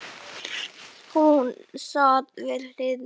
Hún sat við hlið mér.